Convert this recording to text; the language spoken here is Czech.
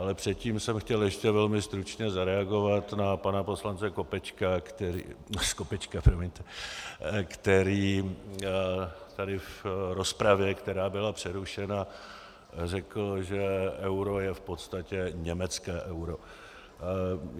Ale předtím jsem chtěl ještě velmi stručně zareagovat na pana poslance Skopečka, který tady v rozpravě, která byla přerušena, řekl, že euro je v podstatě německé euro.